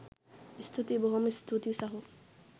ස්තුතියි බොහොම ස්තූතියි සහෝ